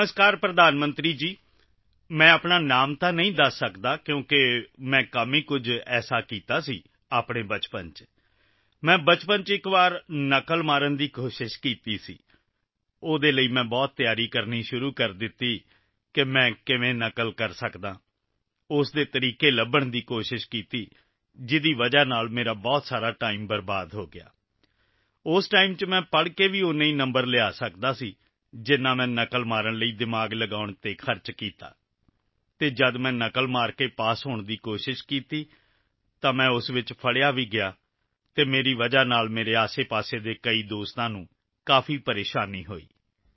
ਨਮਸਕਾਰ ਪ੍ਰਧਾਨ ਮੰਤਰੀ ਜੀ ਮੈਂ ਆਪਣਾ ਨਾਂ ਤਾਂ ਨਹੀਂ ਦੱਸ ਸਕਦਾ ਕਿਉਂਕਿ ਮੈਂ ਕੰਮ ਹੀ ਅਜਿਹਾ ਕੀਤਾ ਸੀ ਆਪਣੇ ਬਚਪਨ ਵਿੱਚ ਮੈਂ ਬਚਪਨ ਵਿੱਚ ਇੱਕ ਵਾਰ ਨਕਲ ਕਰਨ ਦੀ ਕੋਸ਼ਿਸ਼ ਕੀਤੀ ਸੀ ਉਸ ਲਈ ਮੈਂ ਬਹੁਤ ਤਿਆਰੀ ਕਰਨੀ ਸ਼ੁਰੂ ਕੀਤੀ ਕਿ ਮੈਂ ਕਿਵੇਂ ਨਕਲ ਕਰ ਸਕਦਾ ਹਾਂ ਉਸ ਦੇ ਤਰੀਕਿਆਂ ਨੂੰ ਲੱਭਣ ਦੀ ਕੋਸ਼ਿਸ਼ ਕੀਤੀ ਜਿਸ ਕਾਰਨ ਮੇਰਾ ਬਹੁਤ ਸਾਰਾ ਟਾਈਮ ਬਰਬਾਦ ਹੋ ਗਿਆ ਉਸ ਟਾਈਮ ਵਿੱਚ ਮੈਂ ਪੜ੍ਹ ਕੇ ਵੀ ਉੱਨੇ ਹੀ ਨੰਬਰ ਲਿਆ ਸਕਦਾ ਸੀ ਜਿੰਨੇ ਮੈਂ ਨਕਲ ਕਰਨ ਲਈ ਦਿਮਾਗ ਲਗਾਉਣ ਵਿੱਚ ਖਰਚ ਕੀਤਾ ਅਤੇ ਜਦੋਂ ਮੈਂ ਨਕਲ ਕਰਕੇ ਪਾਸ ਹੋਣ ਦੀ ਕੋਸ਼ਿਸ਼ ਕੀਤੀ ਤਾਂ ਮੈਂ ਉਸ ਵਿੱਚ ਪਕੜਿਆ ਵੀ ਗਿਆ ਅਤੇ ਮੇਰੇ ਕਰਨ ਮੇਰੇ ਆਸਪਾਸ ਦੇ ਕਈ ਦੋਸਤਾਂ ਨੂੰ ਕਾਫ਼ੀ ਪ੍ਰੇਸ਼ਾਨੀ ਹੋਈ